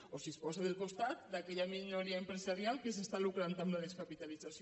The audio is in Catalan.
o si es posa del costat d’aquella minoria empresarial que es lucra amb la descapitalització